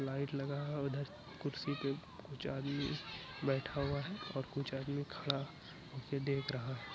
Light लगा है उधर कुर्सी पे कुछ आदमी बैठा हुआ है और कुछ आदमी खड़ा होके देख रहा है।